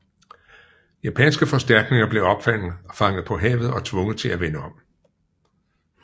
Japanske forstærkninger blev opfanget på havet og tvunget til at vende om